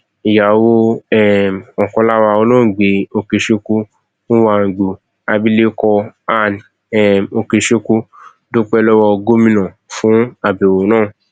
ìyàwó um ọkan lára wọn olóògbé okechukwu nwagboo abilékọ ann um okechukwu dúpẹ lọwọ gómìnà fún àbẹwò náà